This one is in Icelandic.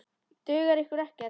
Dugar ykkur ekkert?